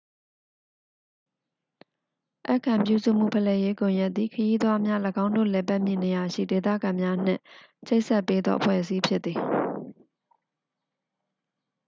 ဧည့်ခံပြုစုမှု ဖလှယ်ရေး ကွန်ရက်သည် ခရီးသွားများ ၎င်းတို့ လည်ပတ်မည့် နေရာရှိ ဒေသခံများနှင့် ချိတ်ဆက်ပေးသော အဖွဲ့အစည်းဖြစ်သည်